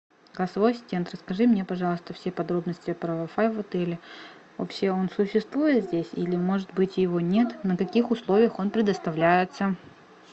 голосовой ассистент расскажи мне пожалуйста все подробности про вай фай в отеле вообще он существует здесь или может быть его нет на каких условиях он предоставляется